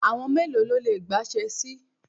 Àwọn mélòó ló le gbá Ṣẹ́ẹ́sì?